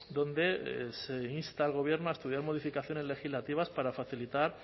donde se insta al gobierno a estudiar modificaciones legislativas para facilitar